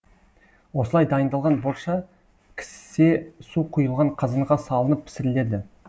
осылай дайындалған борша кісе су құйылған қазанға салынып пісіріледі